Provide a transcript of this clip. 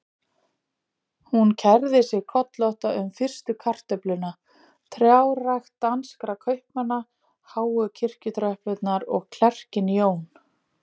Hún kærði sig kollótta um fyrstu kartöfluna, trjárækt danskra kaupmanna, háu kirkjutröppurnar og klerkinn Jón